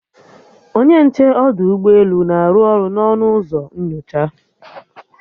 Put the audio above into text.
Onye nche ọdụ ụgbọelu na-arụ ọrụ n'ọnụ ụzọ nnyocha